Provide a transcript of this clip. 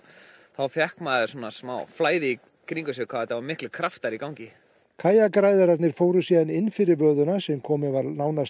þá fékk maður smá flæði í kringum sig hvað þetta voru miklir kraftar í gangi kajakræðararnir fóru síðan inn fyrir sem komin var nánast